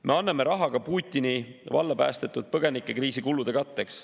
Me anname raha Putini valla päästetud põgenikekriisi kulude katteks.